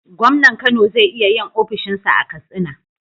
gomnan Kano ze iya yin ofishin sa a katsina